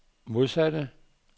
modsatte